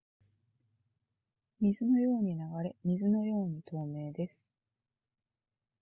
水のように流れ水のように透明です